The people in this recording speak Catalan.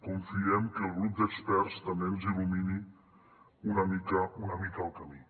confiem que el grup d’experts també ens il·lumini una mica una mica el camí